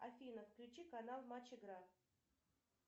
афина включи канал матч игра